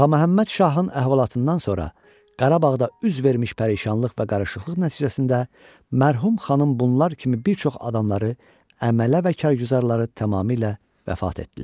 Ağaməhəmməd şahın əhvalatından sonra Qarabağda üz vermiş pərişanlıq və qarışıqlıq nəticəsində mərhum xanım bunlar kimi bir çox adamları, əmələ və karguzarları tamamilə vəfat etdilər.